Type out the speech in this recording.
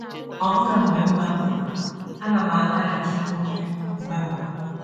Ọbụna mgbe m gbapụrụ, ana m alaghachikwuru ya mgbe mgbe.